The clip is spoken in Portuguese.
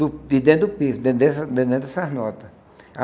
Do de dentro do pífe, den dentro dessas den dentro dessas nota.